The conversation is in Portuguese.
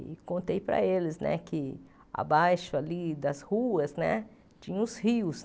E contei para eles que, abaixo ali das ruas né, tinha os rios.